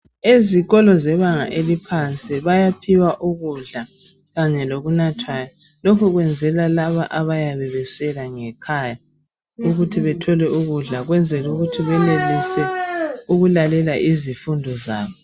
Ezikolo zebanga eliphansi bayaphiwa ukudla kanye lokunathwayo lokhu kwenzelwa labo abayabe beswela ukudla ngekhaya ukwenzela ukuthi benelise ukulalela izifundo zabo.